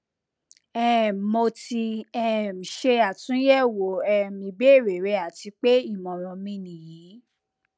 um mo ti um ṣe atunyẹwo um ibeere rẹ ati pe imọran mi niyi